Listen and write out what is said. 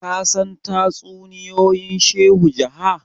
ka san tatsuniyoyin shehu jaha?